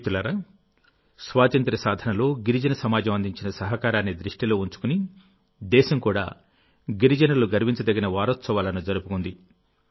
మిత్రులారా స్వాతంత్య్ర సాధనలో గిరిజన సమాజం అందించిన సహకారాన్ని దృష్టిలో ఉంచుకునిదేశం కూడా గిరిజనులు గర్వించదగిన వారోత్సవాలను జరుపుకుంది